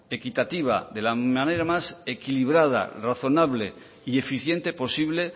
equitativa de la manera más equilibrada razonable y eficiente posible